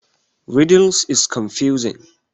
Riddles is confusing.